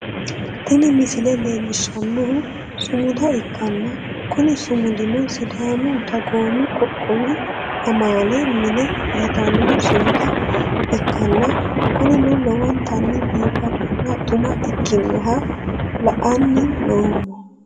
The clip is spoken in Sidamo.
tini misile leellishshannohu sumuda ikkanna, kuni sumudino sidaamu dagoomu qoqqowi amaale mine yitanno sumuda ikkanna, kunino lowontanni biifadona xuma ikkinoha la'anni noommo.